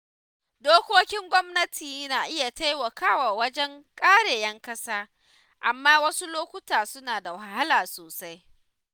Dokokin gwamnati na iya taimakawa wajen kare ‘yan ƙasa, amma wasu lokuta suna da wahala sosai.